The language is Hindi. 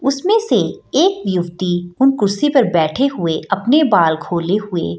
उसमें से एक युवती उन कुर्सी पे बैठे हुए अपने बाल खोले हुए --